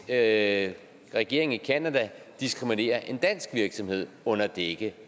at regeringen i canada diskriminerer en dansk virksomhed under dække